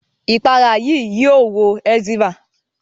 Ìpara yìí yio wo eczema